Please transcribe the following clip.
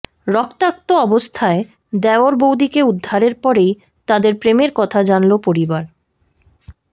রক্তাক্ত অবস্থায় দেওর বৌদিকে উদ্ধারের পরেই তাঁদের প্রেমের কথা জানল পরিবার